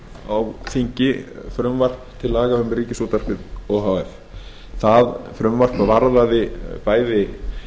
á þingi frumvarp til laga um ríkisútvarpið o h f það frumvarp varðaði bæði